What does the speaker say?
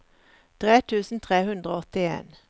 tre tusen tre hundre og åttien